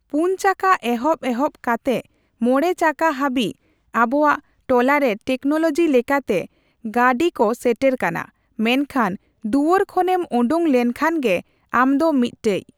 ᱯᱩᱱ ᱪᱟᱠᱟ ᱮᱦᱚᱵ ᱮᱦᱚᱵ ᱠᱟᱛᱮᱜ ᱢᱚᱬᱮ ᱪᱟᱠᱟ ᱦᱟᱵᱤᱡ ᱟᱵᱚᱣᱟᱜ ᱴᱚᱞᱟᱨᱮ ᱴᱮᱠᱱᱳᱞᱳᱡᱤ ᱞᱮᱠᱟᱛᱮ ᱜᱟᱹ ᱰᱤ ᱠᱚ ᱥᱮᱴᱮᱨ ᱠᱟᱱᱟ, ᱢᱮᱱᱠᱷᱟᱱ ᱫᱩᱣᱟᱹᱨ ᱠᱷᱚᱱ ᱮᱢ ᱳᱸᱰᱳᱝ ᱞᱮᱱ ᱠᱷᱟᱱ ᱜᱮ ᱟᱢ ᱫᱚ ᱢᱤᱜᱴᱮᱡ᱾